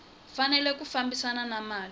fanele ku fambisana na mali